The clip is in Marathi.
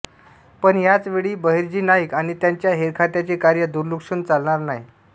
पण याच वेळी बहिर्जी नाईक आणि त्यांच्या हेरखात्याचे कार्य दुर्लक्षून चालणार नाही